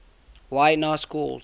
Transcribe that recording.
y na schools